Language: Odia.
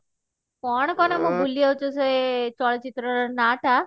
କଣ କହନା ମୁଁ ଭୁଲିଯାଉଛି ସେ ଚଳଚିତ୍ର ର ନା ଟା